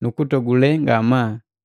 nukutogule ngamaa.